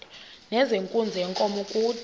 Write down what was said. nezenkunzi yenkomo kude